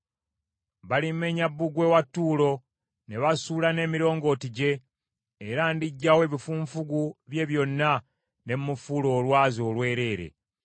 Balimenya bbugwe wa Ttuulo, ne basuula n’emirongooti gye, era ndiggyawo ebifunfugu bye byonna ne mmufuula olwazi olwereere.